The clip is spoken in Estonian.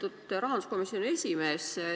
Lugupeetud rahanduskomisjoni esimees!